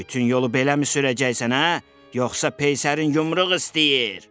Bütün yolu beləmi sürəcəksən, hə, yoxsa peysərin yumruğu istəyir?